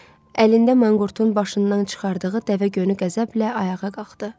Əlində manqurtun başından çıxardığı dəvə gönü qəzəblə ayağa qalxdı.